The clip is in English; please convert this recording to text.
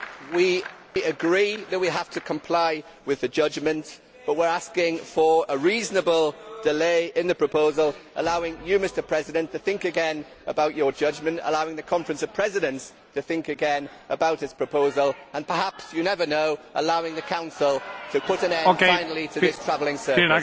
We agree that we have to comply with the judgment, but we are asking for a reasonable delay in the proposal, allowing you, Mr President, to think again about your judgment, allowing the Conference of Presidents to think again about its proposal and perhaps you never know allowing the Council to put an end finally to this travelling circus.